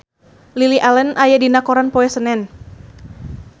Lily Allen aya dina koran poe Senen